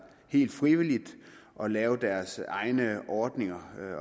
helt frivilligt og lavede deres egne ordninger